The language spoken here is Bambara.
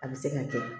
A bɛ se ka kɛ